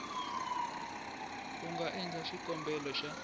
u nga endla xikombelo xa